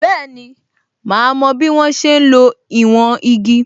Bẹẹni, ma mo bí wọ́n ṣe ń lo ìwọ̀n igi